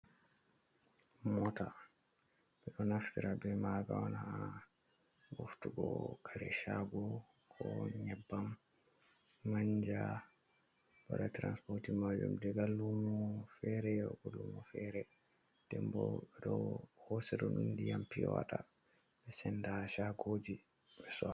Mota, ɓeɗo naftara be maga on ha ɓoftugo kare shago, ko nyebbam, manja, waɗa transportin majum daga lumo fere, yago lumo fere, ndem bo ɗo ɓeɗo hosira ɗum ndiyam piya wata ɓe senda shagoji ɓe sora.